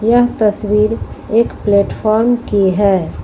यह तस्वीर एक प्लेटफार्म की है।